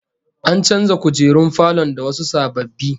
An canza kujerun falon da wasu sababbi